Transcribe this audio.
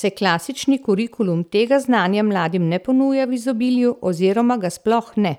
saj klasični kurikulum tega znanja mladim ne ponuja v izobilju oziroma ga sploh ne.